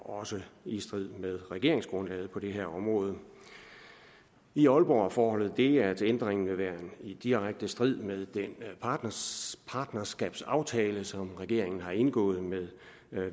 også i strid med regeringsgrundlaget på det her område i aalborg er forholdet det at ændringen vil være i direkte strid med den partnerskabsaftale som regeringen har indgået med